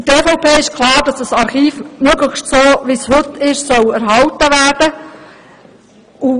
Für die EVP ist klar, dass dieses Archiv möglichst so, wie es heute ist, erhalten bleiben soll.